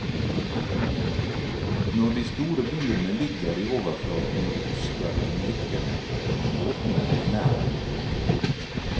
Når de store dyrene ligger i overflaten og puster mellom dykkene, kan båtene komme nær innpå.